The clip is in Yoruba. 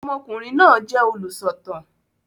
Ọmọkùnrin náà jẹ olúsọ̀tàn